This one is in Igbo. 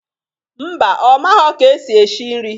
Mba, ọ maghọ ka esi eshi nri